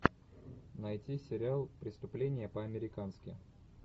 найти сериал преступление по американски